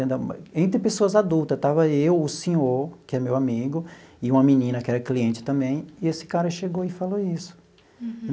Entre pessoas adultas, estava eu, o senhor, que é meu amigo, e uma menina que era cliente também, e esse cara chegou e falou isso.